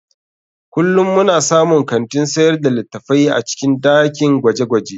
Kullum muna samun kantin sayar da littattafai a cikin dakin gwaje-gwaje.